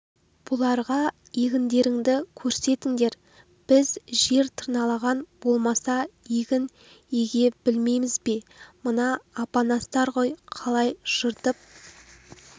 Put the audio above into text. бұларға егіндерінді керсетіндер біз жер тырналаған болмаса егін еге білеміз бе мына апанастар ғой қалай жыртып